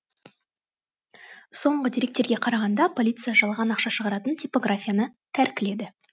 соңғы деректерге қарағанда полиция жалған ақша шығаратын типографияны тәркіледі